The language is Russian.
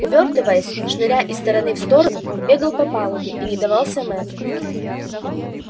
увёртываясь шныряя из стороны в сторону он бегал по палубе и не давался мэтту